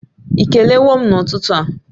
Ị kelewo m n'ụtụtụ a?